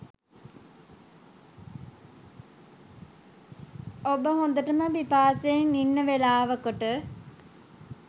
ඔබ හොඳටම පිපාසයෙන් ඉන්න වෙලාවකට